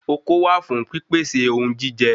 Okó wà fún pí pèsè ohun jíjẹ